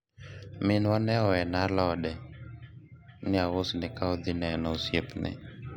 minwa ne owena alode ni ausne ka odhi neno osiepne